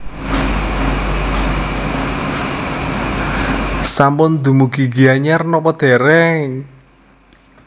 Sampun dumugi Gianyar nopo dereng?